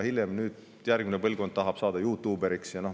Praegune põlvkond tahab saada juutuuberiks.